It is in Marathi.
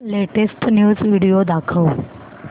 लेटेस्ट न्यूज व्हिडिओ दाखव